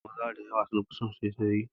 Maza da yawa sun fi son saisaye